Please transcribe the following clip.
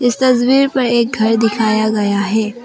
इस तस्वीर पर एक घर दिखाया गया है।